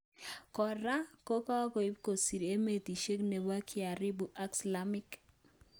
Kora, ko kakoim kosir emetishek nepo kiarabu ak slaamiek